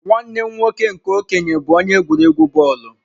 Nwanne m nwoke nke okenye bu onye egwuregwu bọọlụ..